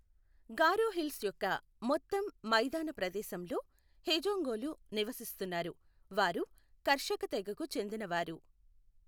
గారో hills యొక్క మొత్తం మైదాన ప్రదేశంలో హేజోంగులు నివసిస్తున్నారు, వారు కర్షక తెగకు చెందినవారు.